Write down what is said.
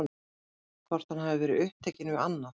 Hvort hann hafi verið upptekinn við annað?